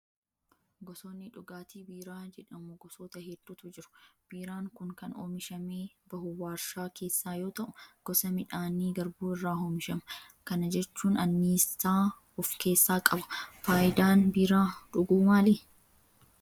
Gosoonni dhugaatii biiraa jedhamu gosoota hedduutu jiru. Biiraan kun kan oomishamee bahu waarshaa keessaa yoo ta'u, gosa midhaanii garbuu irraa oomishama kana jechuun anniisaa of keessaa qaba. Fayidaan biiraa dhuguu maali?